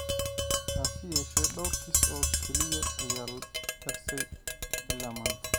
Hase yeeshee, dhawr kiis oo keliya ayaa la darsay ilaa maanta.